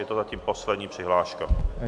Je to zatím poslední přihláška.